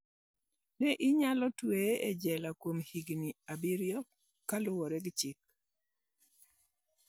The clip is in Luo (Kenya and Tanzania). Ne inyalo twegi e jela kuom higini abiriyo" kaluore gi chik.